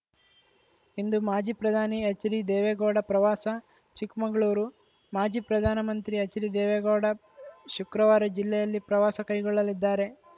ಇಂದು ಮಾಜಿ ಪ್ರಧಾನಿ ಎಚ್‌ಡಿದೇವೆಗೌಡ ಪ್ರವಾಸ ಚಿಕ್ಕಮಗಳೂರು ಮಾಜಿ ಪ್ರಧಾನಮಂತ್ರಿ ಎಚ್‌ಡಿದೇವೇಗೌಡ ಶುಕ್ರವಾರ ಜಿಲ್ಲೆಯಲ್ಲಿ ಪ್ರವಾಸ ಕೈಗೊಳ್ಳಲಿದ್ದಾರೆ